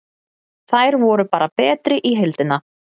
Þær voru bara betri í heildina.